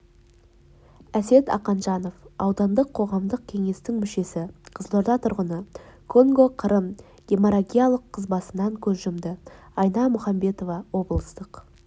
әсет ақанжанов аудандық қоғамдық кеңестің мүшесі қызылорда тұрғыны конго-қырым геморрагиялық қызбасынан көз жұмды айна мұхамбетова облыстық